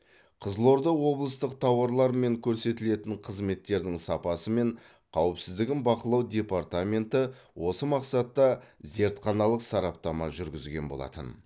қызылорда облыстық тауарлар мен көрсетілетін қызметтердің сапасы мен қауіпсіздігін бақылау департаменті осы мақсатта зертханалық сараптама жүргізген болатын